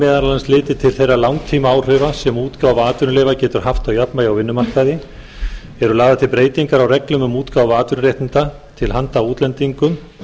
meðal annars litið til þeirra langtímaáhrifa sem útgáfa atvinnuleyfa getur haft á jafnvægi á vinnumarkaði eru lagðar til breytingar á reglum um útgáfu atvinnuréttinda til handa útlendingum